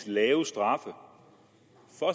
lave straffe for